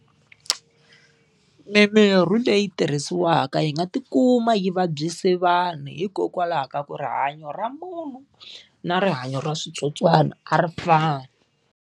Mimirhi leyi tirhisiwaka yi nga ti kuma yi vabyise vanhu hikokwalaho ka ku rihanyo ra munhu na rihanyo ra switsotswana a ri fani.